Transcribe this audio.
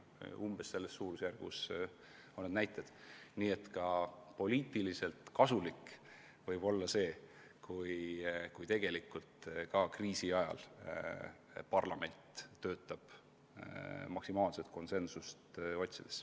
Nii et see võib olla poliitiliselt kasulik, kui ka kriisi ajal töötab parlament maksimaalset konsensust otsides.